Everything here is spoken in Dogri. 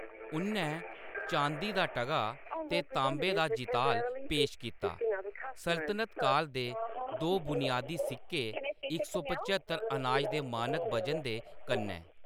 उʼन्नै चांदी दा टगा ते तांबे दा जिताल पेश कीता-सल्तनत काल दे दो बुनियादी सिक्के, इक सौ पच्हत्तर अनाज दे मानक वजन दे कन्नै।